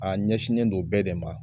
A ɲɛsinnen don bɛɛ de ma.